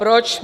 Proč?